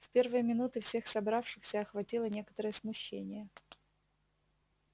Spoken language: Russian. в первые минуты всех собравшихся охватило некоторое смущение